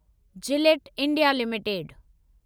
Gillette India limited